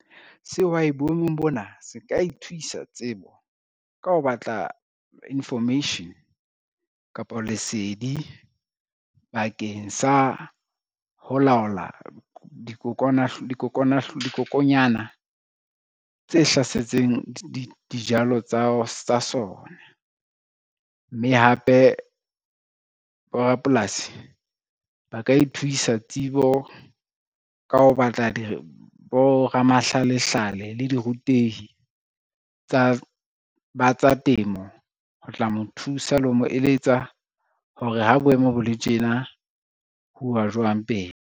Sehwai boemong bona se ka ithuwisa tsebo ka ho batla information kapa lesedi bakeng sa ho laola dikokonyana tse hlasetseng dijalo tsa sona. Mme hape borapolasi ba ka ithuwisa tsebo ka ho batla boramahlalehlale le dirutehi tsa temo, ho tla mo thusa le ho mo eletsa hore ha boemo bo le tjena ho uwa jwang pele.